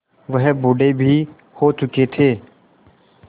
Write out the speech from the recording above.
वह बूढ़े भी हो चुके थे